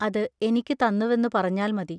അത് എനിക്കു തന്നുവെന്നു പറഞ്ഞാൽ മതി.